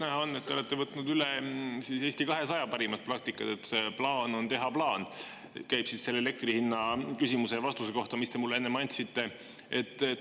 Näha on, et te olete võtnud üle Eesti 200 parima praktika, et plaan on teha plaan – see käib selle elektri hinna küsimuse ja vastuse kohta, mis te mulle enne andsite.